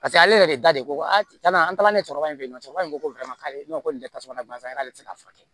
Paseke ale yɛrɛ de da de ko a an taara ne cɛkɔrɔbɛ cɛkɔrɔba in ko nin tɛ tasuma na barisa n'ale tɛ se ka furakɛ